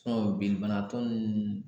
binni bana tɔ nunnu